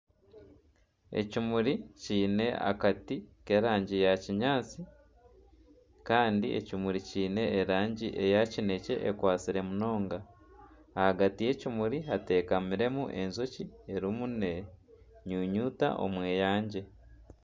Ekimuri kyine akati ky'erangi ya kinyaatsi kandi ekimuri kyine erangi ya kinekye ekwatsire munonga ahagati y'ekimuri hateekamiremu enjoki erimu nenyunyuta omweyangye.